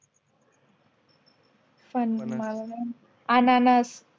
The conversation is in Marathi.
फन मला नई माहिती अननस